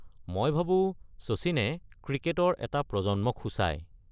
মই ভাবো শচীনে ক্ৰিকেটৰ এটা প্ৰজন্মক সূচায়।